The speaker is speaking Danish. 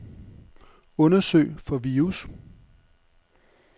Undersøg for virus.